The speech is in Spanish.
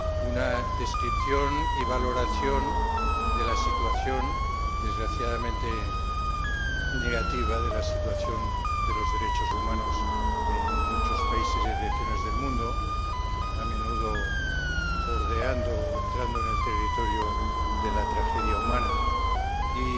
una descripción y valoración de la situación, desgraciadamente negativa, de los derechos humanos en muchos países y regiones del mundo, a menudo bordeando o entrando en el territorio de la tragedia humana y